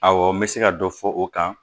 Awɔ n bɛ se ka dɔ fɔ o kan